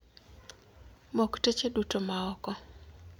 Mok teche duto maoko.